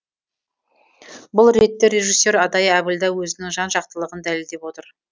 бұл ретте режиссер адай әбілда өзінің жан жақтылығын дәлелдеп отыр